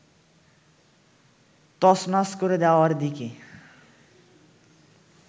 তছনছ করে দেওয়ার দিকে